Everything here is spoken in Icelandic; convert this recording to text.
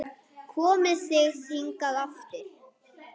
Komið þið hingað aftur!